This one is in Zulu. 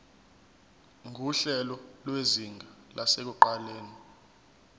nguhlelo lwezinga lasekuqaleni